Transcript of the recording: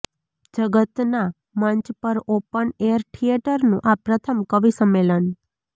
જગતના મંચ પર ઓપન એર થિયેટરનું આ પ્રથમ કવિસંમેલન